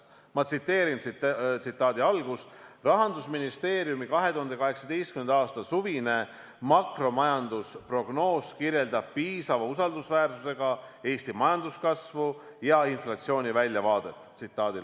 Ma tsiteerin: "Eelarvenõukogu hinnangul kirjeldab rahandusministeeriumi 2018. aasta suvine makromajandusprognoos piisava usaldusväärsusega Eesti majanduskasvu ja inflatsiooni väljavaadet.